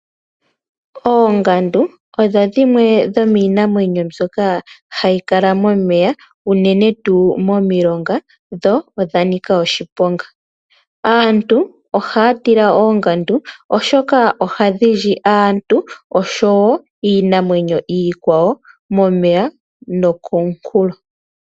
Oongandu odho dhimwe dhomiinamwenyo mbyoka hayi kala momeya unene tuu momilonga dho odha nika oshiponga. Aantu ohaya tila oongandu, oshoka ohadhi li aantu noshowo iinamwenyo iikwawo momeya nokomunkulo.